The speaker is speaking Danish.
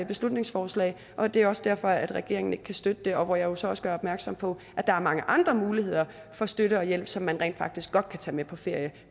beslutningsforslag og det er også derfor at regeringen ikke kan støtte det og hvor jeg jo så også gør opmærksom på at der er mange andre muligheder for støtte og hjælp som man rent faktisk godt kan tage med på ferie